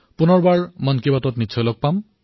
পুনৰ বাবে মন কী বাতত লগ হম